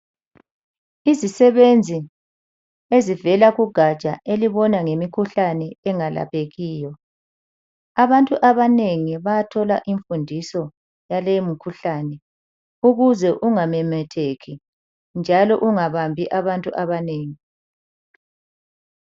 Izisebenzi ezivela kugatsha elibona ngemikhuhlane engalaphekiyo. Abantu abanengi bayathola imfundiso yaleyi mkhuhlane ukuze ungamemetheki njalo kungabambi abantu abanengi.